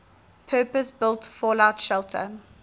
purpose built fallout shelter